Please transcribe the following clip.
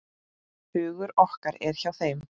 Hugur okkar er hjá þeim.